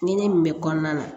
Ɲinɛ min bɛ kɔnɔna na